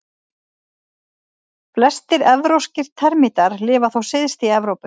Flestir evrópskir termítar lifa þó syðst í Evrópu.